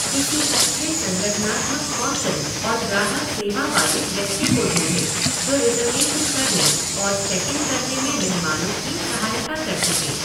किसी अच्छे संगठनात्मक कौशल और ग्राहक सेवा वाले व्यक्ति को ढूंढें जो रिजर्वेशन करने और चेक इन करने में मेहमानों की सहायता कर सके।